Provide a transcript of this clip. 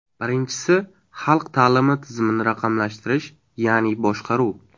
Birinchisi, xalq ta’limi tizimini raqamlashtirish, ya’ni boshqaruv.